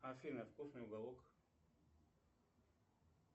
афина вкусный уголок